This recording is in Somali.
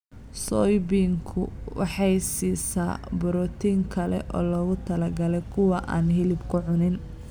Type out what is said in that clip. Soybeansku waxay siisaa borotiin kale oo loogu talagalay kuwa aan hilibka cunin.